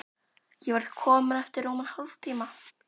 Ég verð komin eftir rúman hálftíma.